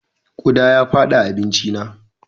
Ƙuda ya fada abincina.